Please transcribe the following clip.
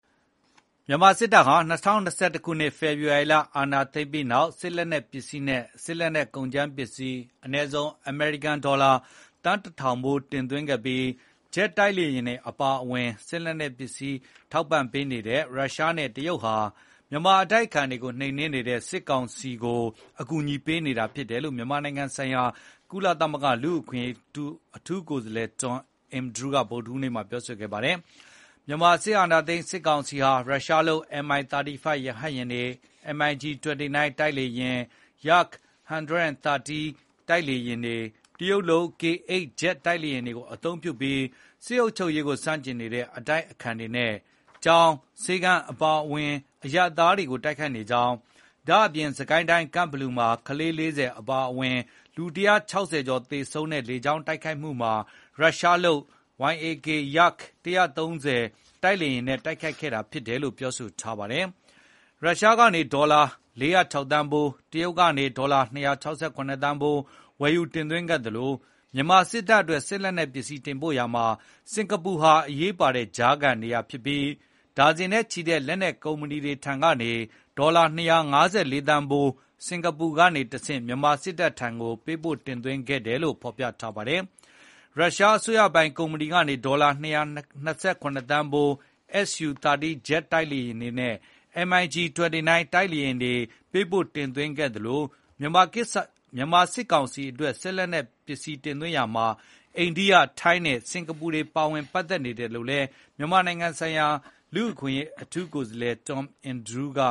မြန်မာစစ်တပ်ဟာ ၂၀၂၁ ခုနှစ် ဖေဖေါ်ဝါရီလ အာဏာသိမ်းပြီးနောက် စစ်လက်နက်ပစ္စည်းနဲ့ စစ်လက်နက်ကုန်ကြမ်းပစ္စည်း အနည်းဆုံး အမေရိကန်ဒေါ်လာ သန်းတထောင်ဖိုးတင်သွင်းခဲ့ပြီး ဂျက်တိုက်လေယဉ်တွေအပါအဝင် စစ်လက်နက်ပစ္စည်းတွေ ထောက်ပံ့ပေးနေတဲ့ ရုရှားနဲ့တရုတ်ဟာ မြန်မာအတိုက်အခံတွေကို နှိမ်နင်းနေတဲ့ စစ်ကောင်စီကို အကူအညီပေးနေတာဖြစ်တယ်လို့ မြန်မာနိုင်ငံဆိုင်ရာ ကုလသမဂ္ဂ လူ့အခွင့်အရေးကိုယ်စားလှယ် Tom Andrews က ဗုဒ္ဓဟူးနေ့မှာပြောလိုက်ပါတယ်။ “မြန်မာအာဏာသိမ်းစစ်ကောင်စီဟာ ရုရှားလုပ် Mi 35 ရဟတ်ယာဉ်၊ MIG 29 ဂျက်တိုက်လေယာဉ်၊ Yak 130 လေယာဉ်တွေ၊ တရုတ်လုပ် K-8 ဂျက်တိုက်လေယာဉ်တွေအသုံးပြုပြီး စစ်အုပ်ချုပ်ရေးကိုဆန့်ကျင်နေတဲ့အတိုက်အခံတွေနဲ့ ကျောင်း၊ ဆေးခန်းအပါအဝင် အရပ်သားတွေကို တိုက်ခိုက်နေကြောင်း၊ ဒါ့ပြင်စစ်ကိုင်းတိုင်း ကန့်ဘလူမှာ ကလေး ၄၀ အပါအဝင် လူ ၁၆၀ ကျော်သေဆုံးခဲ့ရတဲ့ လေကြောင်းတိုက်ခိုက်မှုဟာ ရုရှားလုပ် Yak 130 နဲ့ တိုက်ခိုက်ခဲ့တာဖြစ်တယ်လို့” ပြောပါတယ်။ ရုရှားကနေဒေါ်လာ ၄၀၆ သန်းဖိုး၊ တရုတ်ကနေ ဒေါ်လာ ၂၆၇ သန်း ဖိုးဝယ်ယူတင်သွင်းခဲ့သလို မြန်မာစစ်တပ်အတွက် စစ်လက်နက်ပစ္စည်းတင်ပို့ရာမှာ စင်္ကာပူဟာ အရေးပါတဲ့ကြားခံနေရာဖြစ်ပြီး ဒါဇင်နဲ့ချီတဲ့လက်နက်ကုမ္ပဏီတွေထံကနေ ဒေါ်လာ ၂၅၄ သန်းဖိုးကို စင်္ကာပူကနေတဆင့် မြန်မာစစ်တပ်ထံကို ပေးပို့တင်သွင်းခဲ့တယ်လို့ ဖေါ်ပြ ထားပါတယ်။ ရုရှားအစိုးရပိုင် Rosoboronexprot ကုမ္ပဏီကနေ ဒေါ်လာ ၂၂၇ သန်းဖိုး SU 30 ဂျက် တိုက်လေယာဉ်တွေနဲ့ MIG 29 တိုက်လေယာဉ်တွေပေးပို့တင်သွင်းခဲ့သလို မြန်မာစစ်ကောင်စီအတွက် လက်နက်တင်သွင်းရာမှာ အိန္ဒိယ၊ ထိုင်းနဲ့ စင်္ကာပူနိုင်ငံတွေပါဝင်ပတ်သက်နေတယ်လို့လည်း မြန်မာနိုင်ငံဆိုင်ရာ လူ့အခွင့်အရေးကိုယ်စားလှယ်Tom Andrew က